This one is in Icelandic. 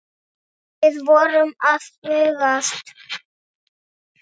Við vorum að bugast.